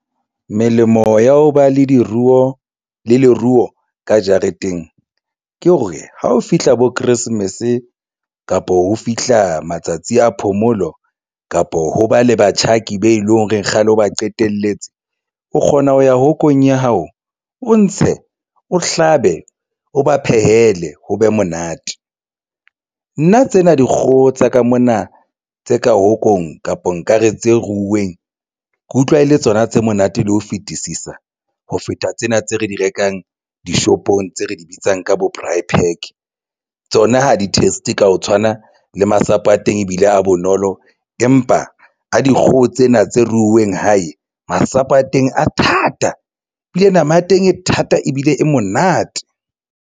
Melemo ya ho ba le diruo le leruo ka jareteng ke hore ha o fihla bo Christmas kapo ho fihla matsatsi a phomolo kapo ho ba le batjhaki be leng hore kgale ba qetelletse o kgona ho ya hongkong ya hao, o ntshe o hlabe, o ba phehele ho be monate. Nna tsena dikgoho tsa ka mona tse ka hongkong kapa nkare tse ruuweng ke utlwa e le tsona tse monate le ho fetisisa ho feta tsena tse re di rekang dishopong tse re di bitsang ka bo braai park tsona ha di-test ka ho tshwana le masapo a teng ebile a bonolo empa a dikgoho tsena tse ruuweng hae. Masapo a teng a thata ebile nama ya teng e thata ebile e monate.